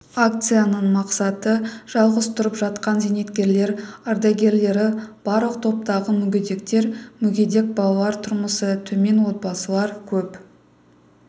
акцияның мақсаты жалғыз тұрып жатқан зейнеткерлер ардагерлері барлық топтағы мүгедектер мүгедек балалар тұрмысы төмен отбасылар көп